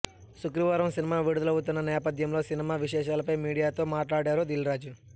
శుక్రవారం సినిమా విడుదలవుతున్న నేపథ్యంలో సినిమా విశేషాలపై మీడియాతో మాట్లాడారు దిల్రాజు